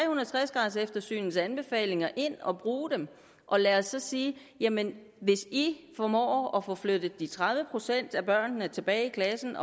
og tres graders eftersynets anbefalinger ind og bruge dem og lad os så sige jamen hvis i formår at få flyttet de tredive procent af børnene tilbage i klassen